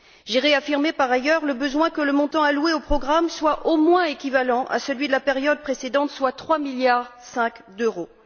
J'ai réaffirmé, par ailleurs, le besoin que le montant alloué au programme soit au moins équivalent à celui de la période précédente, soit 3,5 milliards d'euros.